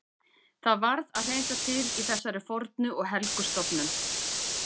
Það varð að hreinsa til í þessari fornu og helgu stofnun.